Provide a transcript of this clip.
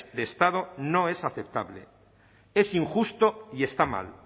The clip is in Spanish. de estado no es aceptable es injusto y está mal